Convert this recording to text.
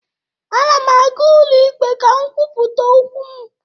A na m aga ụlọikpe ka m kwupụta okwu m